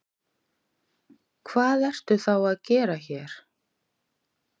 Hvað ertu þá að gera hér?